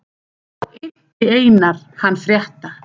Þá innti Einar hann frétta.